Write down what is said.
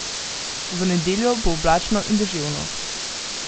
V nedeljo bo oblačno in deževno.